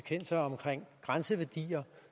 grænseværdier